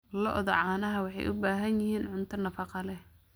Lo'da caanaha waxay u baahan yihiin cunto nafaqo leh.